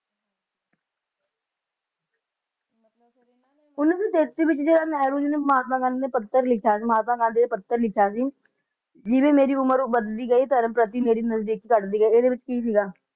ਉੱਨੀ ਸੌ ਵਿਚ ਜਿਹੜਾ ਨਹਿਰੂ ਨੇ ਤੇ ਮਹਾਤਮਾ ਗਾਂਧੀ ਨੇ ਮਹਾਤਮਾ ਗਾਂਧੀ ਨੇ ਪੱਤਰ ਲਿਖਿਆ ਸੀ ਜਿਵੇ ਜਿਵੇ ਮੇਰੀ ਉਮਰ ਵਧਦੀ ਗਈ ਧਰਮ ਪ੍ਰਤੀ ਮੇਰੀ ਨਜ਼ਦੀਕ ਘਟਦੀ ਗਈ ਇਹਦੇ ਵਿਚ ਕੀ ਸੀਗਾ